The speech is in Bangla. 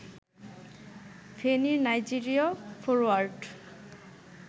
ফেনীর নাইজেরীয় ফরোয়ার্ড